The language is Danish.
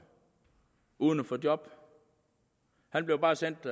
uden at få job han blev bare sendt